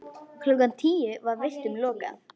Klukkan tíu var vistum lokað.